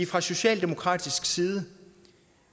fra socialdemokratisk side